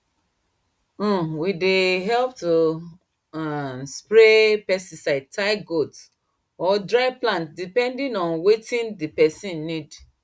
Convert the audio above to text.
um we dey help to um spray pesticide tie goat or dry plant depending on wetin d person need